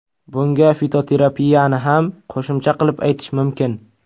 Bunga fitoterapiyani ham qo‘shimcha qilib aytish mumkin.